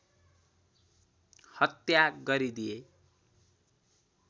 हत्या गरिदिए